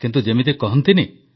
କିନ୍ତୁ ଯେମିତି କହନ୍ତିନି